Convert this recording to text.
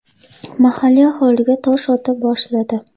mahalliy aholiga tosh ota boshladi.